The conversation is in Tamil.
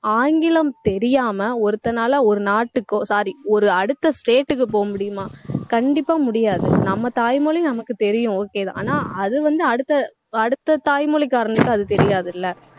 ஆங்கிலம் தெரியாம ஒருத்தனால ஒரு நாட்டுக்கோ sorry ஒரு அடுத்த state க்கு போக முடியுமா கண்டிப்பா முடியாது. நம்ம தாய்மொழி நமக்கு தெரியும் okay தான். ஆனா அது வந்து அடுத்த அடுத்த தாய்மொழிகாரனுக்கு அது தெரியாதுல்ல